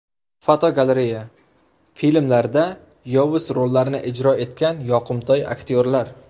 Fotogalereya: Filmlarda yovuz rollarni ijro etgan yoqimtoy aktyorlar.